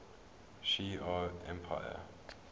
shi ar empire